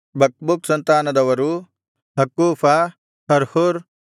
ಬಕ್ಬೂಕ್ ಸಂತಾನದವರು ಹಕ್ಕೂಫ ಹರ್ಹೂರ್